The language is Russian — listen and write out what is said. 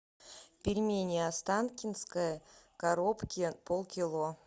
пельмени останкинские в коробке полкило